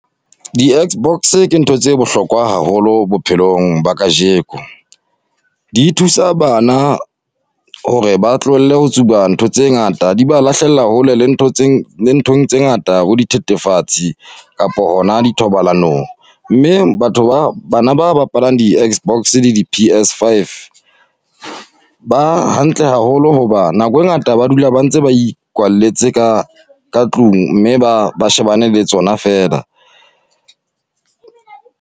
Di-X-box ke ntho tse bohlokwa haholo bophelong ba kajeko. Di thusa bana hore ba tlohelle ho tsuba ntho tse ngata, di ba lahlella hole le nthong tse ngata bo dithetefatsi kapa hona dithobalanong. Mme batho ba bana ba bapalang di-X-box le di-P_S five, ba hantle haholo hoba nako e ngata ba dula ba ntse ba ikwalletse ka ka tlung mme ba ba shebane le tsona feela.